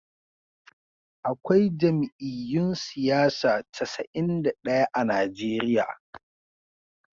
Akwai jam'iyyun siyasa casa'in da daya a Najeriya